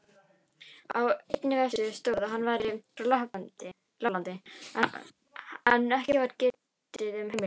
Á einni vefsíðu stóð að hann væri frá Lapplandi, en ekki var getið um heimildir.